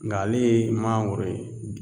Nka ale ye mangoro ye